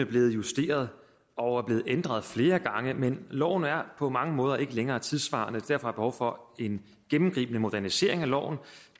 blevet justeret og ændret flere gange men loven er på mange måder ikke længere tidssvarende og derfor der behov for en gennemgribende modernisering af loven og